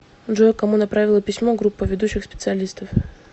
джой кому направила письмо группа ведущих специалистов